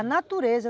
A natureza.